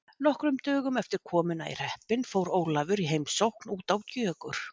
Nokkrum dögum eftir komuna í hreppinn fór Ólafur í heimsókn út á Gjögur.